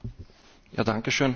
Frau Präsidentin!